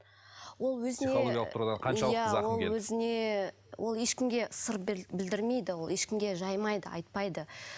ол өзіне психологиялық тұрғыда қаншалықты зақым келді ол өзіне ыыы ол ешкімге сыр білдірмейді ол ешкімге жаймайды айтпайды